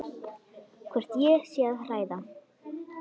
Hvort ég sé að hræða.